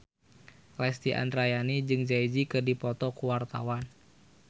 Lesti Andryani jeung Jay Z keur dipoto ku wartawan